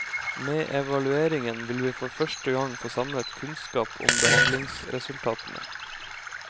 Med evalueringen vil vi for første gang få samlet kunnskap om behandlingsresultatene.